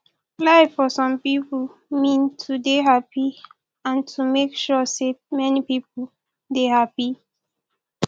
life for some pipo mean to dey happy and to make sure sey many pipo dey happy